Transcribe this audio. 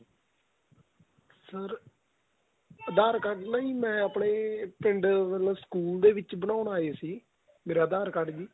sir aadhar card ਨਾ ਜੀ ਮੈਂ ਆਪਣੇਂ ਪਿੰਡ ਵਲੋਂ ਸਕੂਲ ਦੇ ਵਿੱਚ ਬਣਾਉਣ ਆਏ ਸੀ ਮੇਰਾ aadhar card ਵੀ